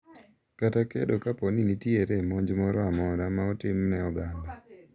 kata kedo kapo ni nitere monj moro amora ma otimne oganda.